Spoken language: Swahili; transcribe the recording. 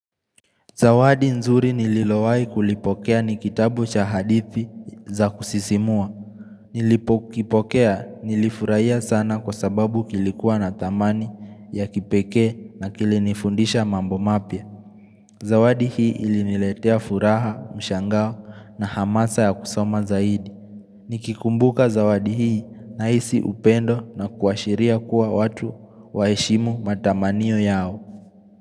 Zawadi nzuri nililowai kulipokea ni kitabu cha hadithi za kusisimua Nilipokipokea nilifurahia sana kwa sababu kilikuwa na thamani ya kipekee na kilinifundisha mambo mapya Zawadi hii iliniletea furaha, mshangao na hamasa ya kusoma zaidi Nikikumbuka zawadi hii nahisi upendo na kuashiria kuwa watu waheshimu matamanio yao.